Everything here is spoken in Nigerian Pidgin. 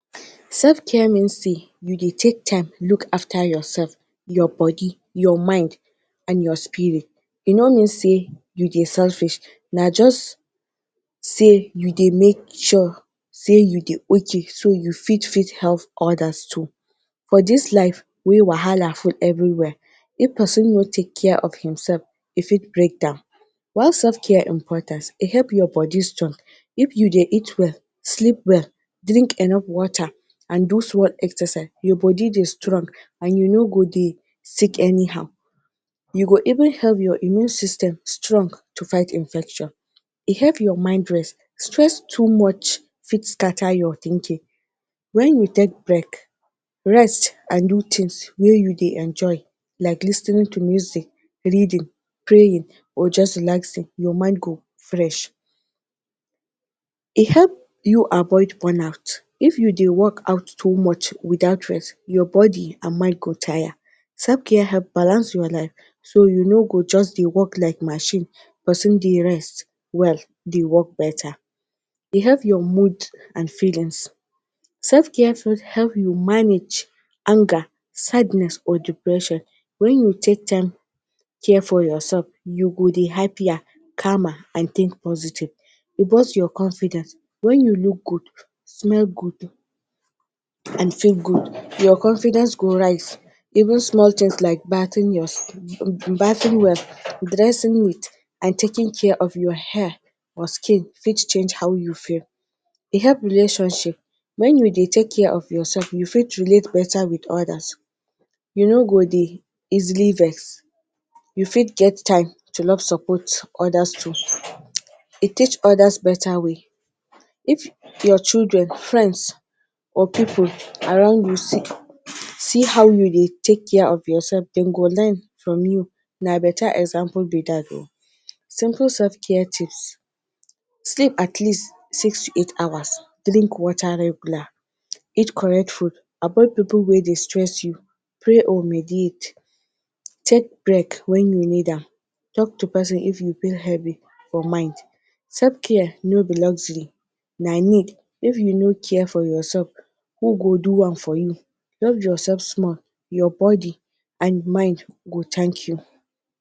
Selfcare mean sey you dey take time look after yourself, your body, your mind and your spirit. E no mean sey you dey selfish na just sey you dey make sure you dey okay so you fit fit help others too. For dis life wey wahala full everywhere if pesin no take care of imself e fit break down. Why selfcare important; e help your body strong, if you dey eat well, sleep well, drink enough water and do small exercise your body dey strong and you no go dey sick anyhow, you go even help your immune system strong to fight infection. E help your mind rest, stress too much fit scatter your thinking when you take break, rest and do things wey you dey enjoy like lis ten ing to music, reading, praying or just relaxing your mind go fresh. E help you avoid wornout- if you dey workout too much without rest, your body and mind go tire. Selfcare help balance your life so you no go just dey work like machine, pesin need rest dey work better. E help your mood and feelings- self-care help you manage anger, sadness or depression, when you take time take care of yourself you go dey happier, calmer and think positive. Reboost your confidence- when you look good, smell good and feel good your confidence go rise even small things like bathing well your dressing neat and taking care of your hair or skin fit change how you feel. E help relationship- when you dey take care of yourself, you fit relate better with others, you no go dey easily vex you fit get time to love support others too. E teach others better way- if your children, friends or pipul around you see how you dey take care of yourself dem go learn from you na better example be dat. Simple selfcare tips; sleep at least six to eight hours, drink water regular, eat correct food, avoid pipul wey dey stress you, pray or mediate, take break when you need am, talk to pesin if you feel heavy for mind. Selfcare no be luxury na need if you no care for yourself who go do am for you. Love yourself small, your body and mind go thank you.